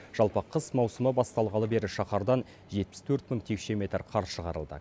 жалпы қыс маусымы басталғалы бері шаһардан жетпіс төрт мың текше метр қар шығарылды